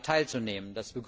8. Mai teilzunehmen.